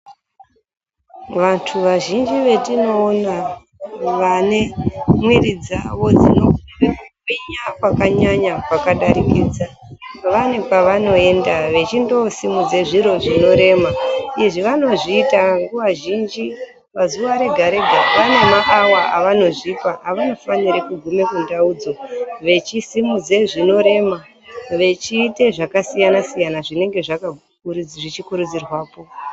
Vantu vazhinji vetinoona vane mwiri dzawo dzinekurema kwakanyanya kwakadarikidza vane kwevanoenda vechindosimudze zviro zvinorema izvi vanozviita nguva zhinji pazuwa rega rega vane maawa avanozvipa avanofane kugume kundaudzo vechisimudze zvinorema vechiite zvakasiyanasiyana zvinenge zvechikurudzirwapo.